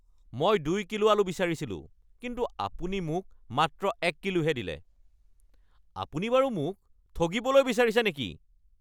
মই ২ কিলো আলু বিচাৰিছিলো কিন্তু আপুনি মোক মাত্ৰ এক কিলোহে দিলে! আপুনি বাৰু মোক ঠগিবলৈ বিচাৰিছে নেকি?